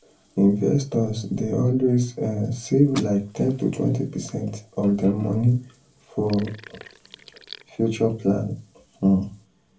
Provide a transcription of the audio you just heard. investors dey always um save like ten totwentypercent of dem money for future plan. um